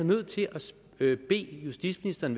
nødt til at bede justitsministeren